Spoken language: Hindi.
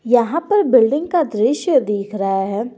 यहां पर बिल्डिंग का दृश्य दिख रहा है।